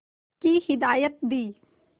की हिदायत दी